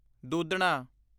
ਦੂਧਣਾ